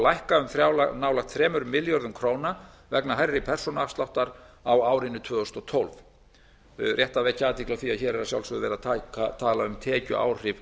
lækka um nálægt þrjá milljarða króna vegna hærri persónuafsláttar á árinu tvö þúsund og tólf það er rétt að vekja athygli á því að hér er að sjálfsögðu verið að tala um tekjuáhrif